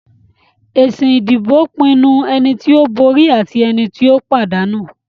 Èsì ìdìbò pinnu ẹni tí ó borí àti ẹni tí ó pàdánù.